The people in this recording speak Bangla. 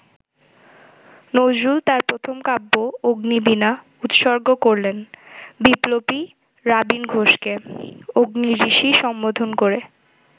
নজরুল তাঁর প্রথম কাব্য অগ্নিবীনা উৎসর্গ করলেন বিপ্লবী রাবীন ঘোষকে, অগ্নি-ঋষি সম্বোধন করে।